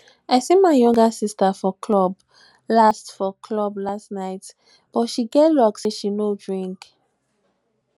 i see my younger sister for club last for club last night but she get luck say she no drink